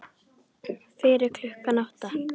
Fyrir klukkan átta?